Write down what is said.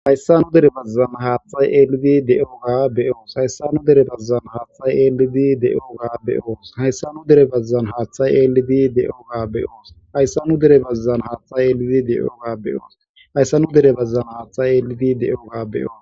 hayssa nu dere bazzan haaththay eelidi de7ooga beyoos hayssa nu dere bazzan haaththay eelidi de7ooga beyoos hayssa nu dere bazzan haaththay eelidi de7ooga beyoos hayssa nu dere bazzan haaththay eelidi de7oga beyoos hayssa nu dere bazzan haaththay eelidi de7ooga beyoos